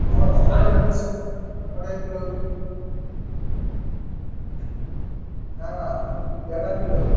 ଅ ଅ ଅଢେଇକିଲ ହଉଛି ଅଢେଇକିଲହଉଛି। ନା ନା ଦେଢକିଲ ହଉଛି।